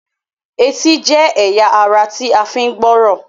Ẹtì jé ẹyà àrà tí a fi ń gbọ́rọ̀